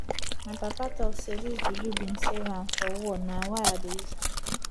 my papa talk sey dis juju bin save am for war na why i dey use am